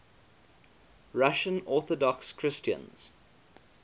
russian orthodox christians